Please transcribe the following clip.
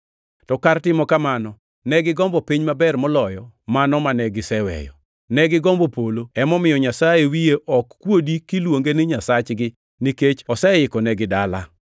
To kar timo kamano, ne gigombo piny maber moloyo mano mane giseweyo. Ne gigombo polo. Emomiyo Nyasaye wiye ok kuodi kiluonge ni Nyasachgi, nikech oseikonegi dala.